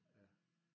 Ja